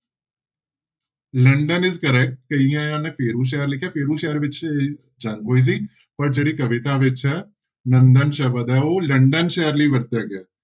London is correct ਕਈਆਂ ਨੇ ਫੇਰੂ ਸ਼ਹਿਰ ਲਿਖਿਆ, ਫੇਰੂ ਸ਼ਹਿਰ ਵਿੱਚ ਜੰਗ ਹੋਈ ਸੀ ਪਰ ਜਿਹੜੀ ਕਵਿਤਾ ਵਿੱਚ ਹੈ ਨੰਦਨ ਸ਼ਬਦ ਹੈ ਉਹ ਲੰਡਨ ਸ਼ਹਿਰ ਲਈ ਵਰਤਿਆ ਗਿਆ ਹੈ।